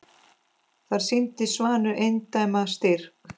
Þar sýndi Svanur eindæma styrk.